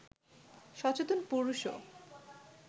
সচেতন পুরুষও